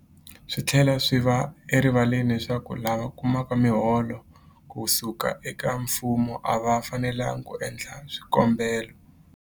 Swi tlhela swi va erivaleni leswaku lava kumaka miholo ku suka eka mfumo a va fanelanga ku endla swikombelo.